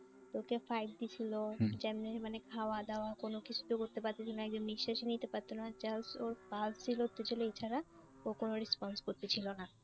ওকে দিচ্ছিল যেমনি মানে খাওয়া দাওয়া কোন কিছু তো করতে পারতেছিল না একদম নিঃশ্বাস ই নিতে পারত না just ওর pulse চলতে ছিল এছাড়া ও কোন response করতে ছিল না।